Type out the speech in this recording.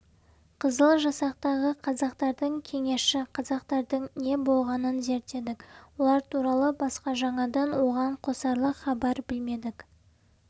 қызыл жасақтағы қазақтардың кеңесші қазақтардың не болғанын зерттедік олар туралы басқа жаңадан оған қосарлық хабар білмедік